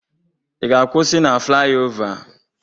Ị ga-akwụsị na flayova?